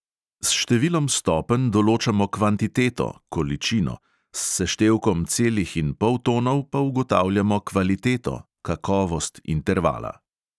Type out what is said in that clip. S številom stopenj določamo kvantiteto s seštevkom celih in poltonov pa ugotavljamo kvaliteto intervala.